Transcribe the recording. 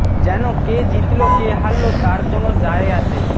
যেন কে জিতল কে হারল তার কোনো যায় আসে